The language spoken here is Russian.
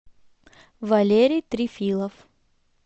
валерий трифилов